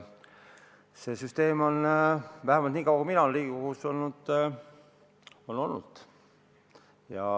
See süsteem on, vähemalt niikaua kui mina olen Riigikogus olnud, selline olnud.